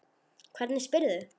Hvernig spyrðu.